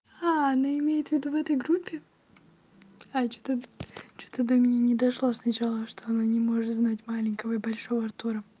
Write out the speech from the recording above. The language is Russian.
она имеет в виду в этой группе а что-то что-то до меня не дошла сначала что она не может знать маленького и большого артура